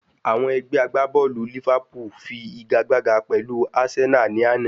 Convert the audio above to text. Àwọn Ẹgbẹ́ agbábọ̀lù Liverpool fi igagbága pẹ̀lú Arsenal ní àná